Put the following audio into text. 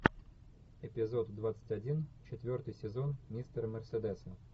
эпизод двадцать один четвертый сезон мистера мерседеса